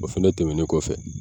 O fana tɛmɛnen kɔfɛ